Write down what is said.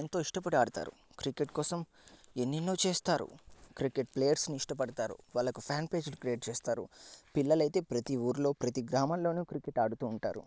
ఎంతో ఇష్టపడి ఆడతారు. క్రికెట్ కోసం ఎన్నెన్నో చేస్తారు. క్రికెట్ ప్లేయర్స్ ని ఇష్టపడతారు. వాళ్ళకి ఫ్యాన్ పేజ్ ని క్రియేట్ చేస్తారు. పిల్లలైతే ప్రతి ఊర్లో ప్రతి గ్రామంలోను క్రికెట్ ఆడుతూ ఉంటారు.